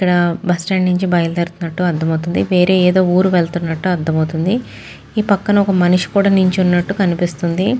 ఇక్కడ bus stand నుంచి బయలుదేరుతున్నట్లు అర్ధం అవుతుంది. వేరే ఏదో ఊరు వెళ్తున్నట్లు అర్ధం అవుతుంది. ఈ పక్కన ఒక మనిషి కూడా నుంచి ఉన్నట్టు కనిపిస్తుంది.